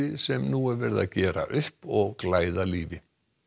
sem nú er verið að gera upp og glæða lífi